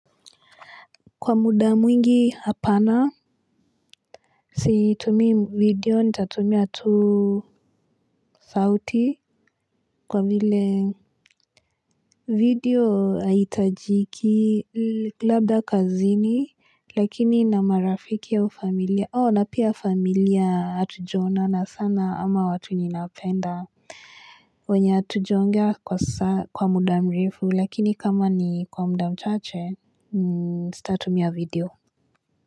Kwa muda mwingi hapana. Situmii video nitatumia tu sauti kwa vile video haihitajiki labda kazini lakini na marafiki au familia, na pia familia hatujaonana sana ama watu ninapenda wenye hatujaongea kwa muda mrefu lakini kama ni kwa muda mchache sitatumia video.